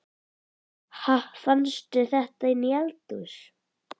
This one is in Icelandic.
Ha! Fannstu þetta inni í eldhúsi?